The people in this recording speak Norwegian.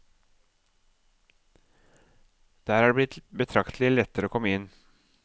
Der er det blitt betraktelig lettere å komme inn.